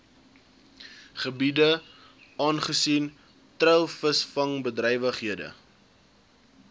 gebiede aangesien treilvisvangbedrywighede